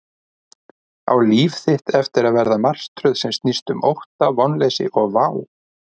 Á líf þitt eftir að verða martröð sem snýst um ótta, vonleysi og vá?